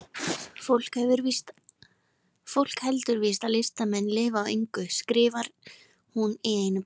Fólk heldur víst að listamenn lifi á engu, skrifar hún í einu bréfinu.